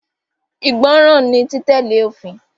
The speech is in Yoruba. Ìgbọràn ni títẹ̀lé òfin.